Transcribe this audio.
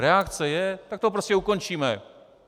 Reakce je - tak to prostě ukončíme.